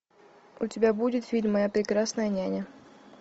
у тебя будет фильм моя прекрасная няня